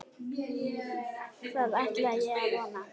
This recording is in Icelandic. Það ætla ég að vona.